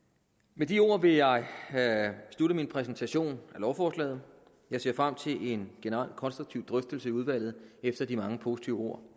med de ord vil jeg slutte min præsentation af lovforslaget jeg ser frem til en generelt konstruktiv drøftelse i udvalget efter de mange positive ord